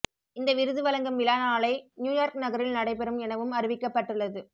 இந்த விருது வழங்கும் விழா நாளை நியூயார்க் நகரில் நடைபெறும் எனவும் அறிவிக்கப்பட்டுள்ளது